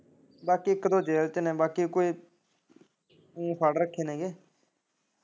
ਬਾਕੀ ਇੱਕ ਦੋ ਜੇਲ ਚ ਨੇ ਬਾਕੀ ਕੋਈ ਫੜ ਰੱਖੇ ਨੇ ਗੇ।